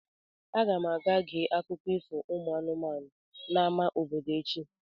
Aga m aga gee akụkọ ifo ụmụ anụmanụ n'amá obodo echi.